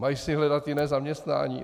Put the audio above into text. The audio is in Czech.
Mají si hledat jiné zaměstnání?